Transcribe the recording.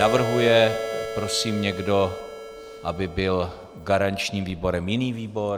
Navrhuje prosím někdo, aby byl garančním výborem jiný výbor?